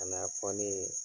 kana fɔ ne ye